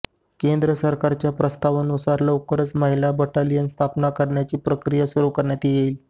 केंद्र सरकारच्या प्रस्तावानुसार लवकरच महिला बटालियन स्थापन करण्याची प्रक्रिया सुरू करण्यात येईल